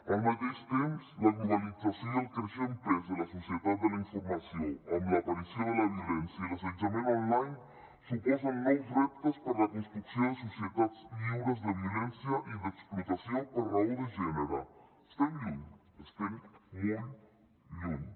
al mateix temps la globalització i el creixent pes de la societat de la informació amb l’aparició de la violència i l’assetjament online suposen nous reptes per a la construcció de societats lliures de violència i d’explotació per raó de gènere estem lluny estem molt lluny